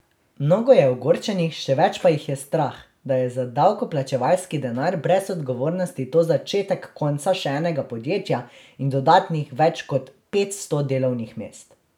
Mnogo je ogorčenih, še več pa jih je strah, da je za davkoplačevalski denar brez odgovornosti to začetek konca še enega podjetja in dodatnih več kot petsto delovnih mest.